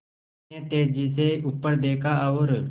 उसने तेज़ी से ऊपर देखा और